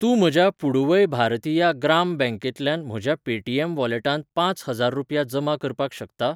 तूं म्हज्या पुडुवै भारतिया ग्राम बँक खात्यांतल्यान म्हज्या पेटीएम वॉलेटांत पांच हजार रुपया जमा करपाक शकता?